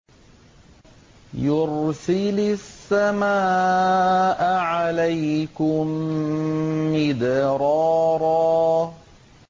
يُرْسِلِ السَّمَاءَ عَلَيْكُم مِّدْرَارًا